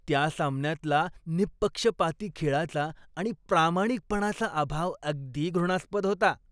त्या सामन्यातला निप्पक्षपाती खेळाचा आणि प्रामाणिकपणाचा अभाव अगदी घृणास्पद होता.